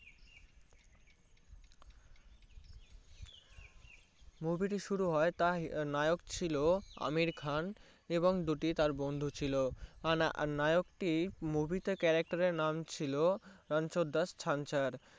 Movie টি শুরু হয়ে টের নায়ক ছিল আমির খান এবং দুটি তার বন্ধু চুল নায়ক টি Movie তে Character এর নাম ছিল রানচ্ছর দশ ছাঁচের